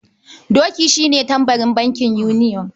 Doki shi ne tambarin bankin yuniyon.